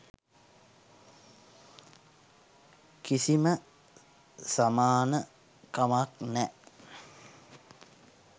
කිසිම සමාන කමක් නෑ.